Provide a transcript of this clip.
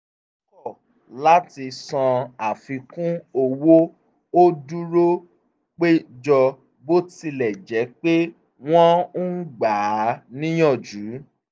ó kọ̀ láti san àfikún owó ó dúró péjọ bó tilẹ̀ jẹ́ pé wọ́n ń gba á níyànjú